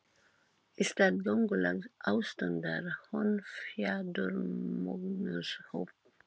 Í stað göngulags ástundar hún fjaðurmögnuð hopp.